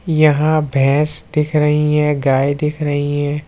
यहां भैंस दिख रही है गाए दिख रही है।